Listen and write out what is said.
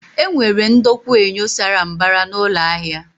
E nwere ndokwa enyo sara mbara na ụlọ ahia